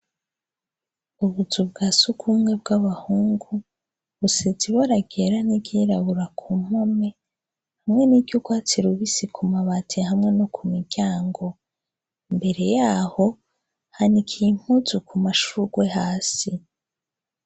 Ubuzu bwa sugwumwe bw'abahungu busize ibara ryera n'iryirabura ku mpome, hamwe n'iryurwatsi rubisi ku mabati hamwe no ku miryango, mbere yaho hanikiye impuzu ku mashugwe hasi.